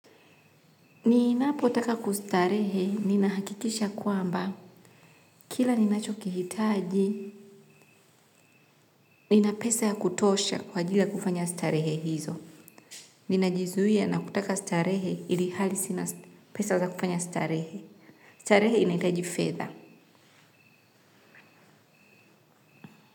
Ninapotaka kustarehe, ninahakikisha kwamba, kila ninacho kihitaji, nina pesa ya kutosha kwa ajili ya kufanya starehe hizo. Ninajizuia na kutaka starehe ilihali sina pesa za kufanya starehe. Starehe inahitaji fedha.